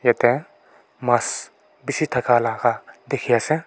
yete masss bishi thaka laka dikhi asey.